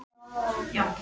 og ef svo er, hver?